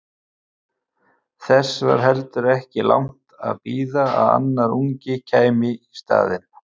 Þess var heldur ekki langt að bíða að annar ungi kæmi í staðinn.